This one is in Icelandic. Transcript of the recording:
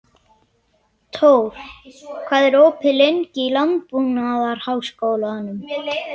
Tór, hvað er opið lengi í Landbúnaðarháskólanum?